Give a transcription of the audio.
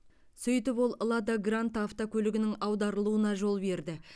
сөйтіп ол лада гранта автокөлігінің аударылуына жол берді